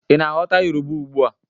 Ị na-aghọta Yoruba ugbua